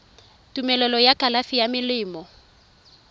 tumelelo ya kalafi ya melemo